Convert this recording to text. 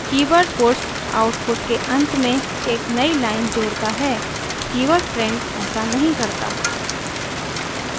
keyword puts output के अंत में एक नयी लाइन जोड़ता है कीवर्ड print ऐसा नहीं करता